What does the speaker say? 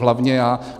Hlavně já.